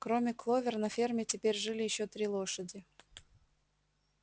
кроме кловер на ферме теперь жили ещё три лошади